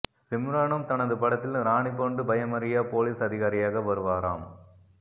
சிம்ரனும் தனது படத்தில் ராணி போன்று பயமறியா போலீஸ் அதிகாரியாக வருவாராம்